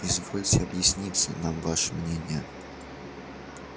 извольте объясниться нам ваше мнение